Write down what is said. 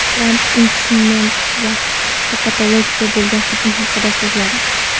Tramp impichment va Kapitoliyga bo‘lgan hujum haqida so‘zladi.